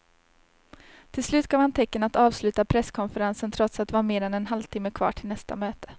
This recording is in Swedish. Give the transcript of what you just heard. Till slut gav han tecken att avsluta presskonferensen trots att det var mer än en halvtimme kvar till nästa möte.